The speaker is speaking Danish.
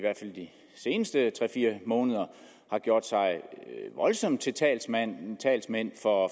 de seneste tre fire måneder har gjort sig voldsomt til talsmænd talsmænd for